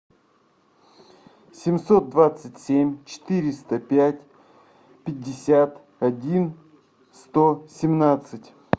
семьсот двадцать семь четыреста пять пятьдесят один сто семнадцать